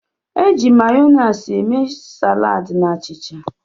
E ji Mayoniisi eme saladi na achịcha.